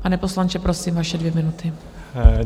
Pane poslanče, prosím, vaše dvě minuty.